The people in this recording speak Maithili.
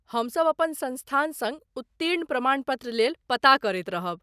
हमसभ अपन संस्थान सङ्ग उत्तीर्ण प्रमाण पत्र लेल पता करैत रहब।